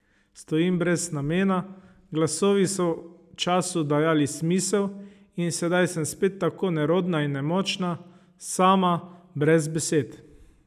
Stojim brez namena, glasovi so času dajali smisel in sedaj sem spet tako nerodna in nemočna, sama, brez besed.